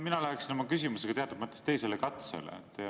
Mina läheksin oma küsimusega teatud mõttes teisele katsele.